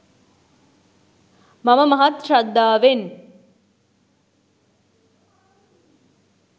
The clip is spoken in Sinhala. මම මහත් ශ්‍රද්ධාවෙන්